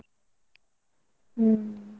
ಹ್ಮ್.